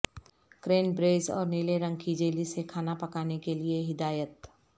cranberries اور نیلے رنگ کی جیلی سے کھانا پکانے کے لئے ہدایت